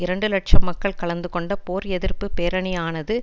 இரண்டு இலட்சம் மக்கள் கலந்துகொண்ட போர் எதிர்ப்பு பேரணியானது